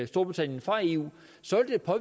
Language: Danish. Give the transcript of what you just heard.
storbritannien fra eu